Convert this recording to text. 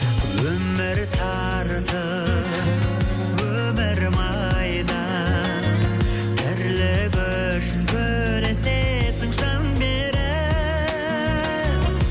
өмір тартыс өмір майдан тірлік үшін күресесің жан беріп